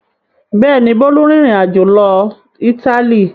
Bẹ́ẹ̀ ni, Bólú rìnrìn-àjò lọ Ítálì.